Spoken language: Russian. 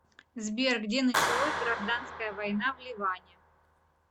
сбер где началось гражданская война в ливане